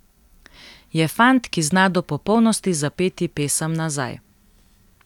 Je fant, ki zna do popolnosti zapeti pesem nazaj.